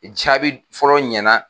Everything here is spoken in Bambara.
Jaabi fɔlɔ ɲɛna.